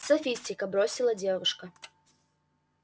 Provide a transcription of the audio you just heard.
софистика бросила девушка